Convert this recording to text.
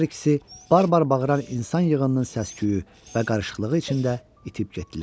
Hər ikisi barbar bağıran insan yığınının səs-küyü və qarışıqlığı içində itib getdilər.